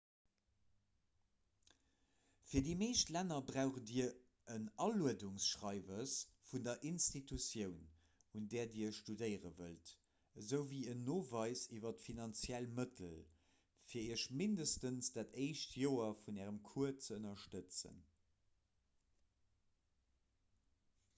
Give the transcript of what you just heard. fir déi meescht länner braucht dir en aluedungsschreiwes vun der institutioun un där dir studéiere wëllt esouwéi een noweis iwwer d'finanziell mëttel fir iech mindestens dat éischt joer vun ärem cours ze ënnerstëtzen